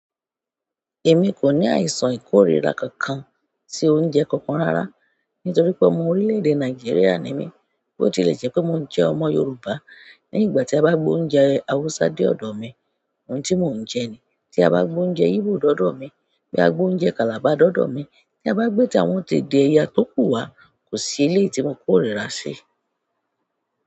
Èmi kò ní àìsàn íkóríra kankan sí oúnjẹ kankan rárá. Nítorí pé ọmọ orílẹ̀-èdè Nàìjíríà ni mí, bó ti lè jẹ́ pé mò jẹ́ ọmọ Yoruba, ní ìgbà tí a bá gbé oúnjẹ Hausa dé ọ̀dọ̀ mi, òun tí mò ń jẹ ni. Tí a bá gbé oúnjẹ Igbo dá ọ̀dọ̀ mi, bí a gbé oúnjẹ Calabar dá ọ̀dọ̀ mi, tí a bá gbé tí àwọn ti èdè ẹ̀yà tókù wá, kò sí eléyìí tí mo kórira sí.